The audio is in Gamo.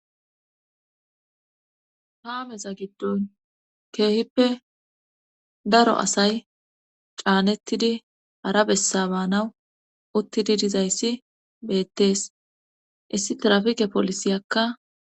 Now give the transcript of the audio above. Haameza giddon keehippe daro asay caanettidi hara bessabaanawu uttidi dizayssi beettees issi trafike polisiyakka.